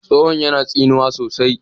tsohon yana tsinuwa sosai